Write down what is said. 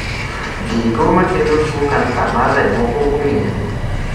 Gigo makelo tuo kansa mar remo pok ong'ere